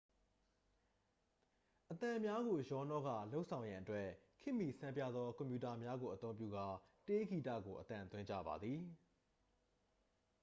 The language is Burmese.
အသံများကို ရောနှောကာ လုပ်ဆောင်ရန်အတွက် ခေတ်မီဆန်းပြားသောကွန်ပြူတာများကိုအသုံးပြုကာ တေးဂီတကို အသံသွင်းကြပါသည်